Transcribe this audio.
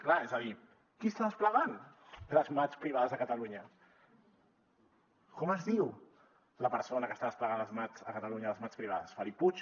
clar és a dir qui està desplegant les mats privades a catalunya com es diu la persona que està desplegant les mats a catalunya les mats privades felip puig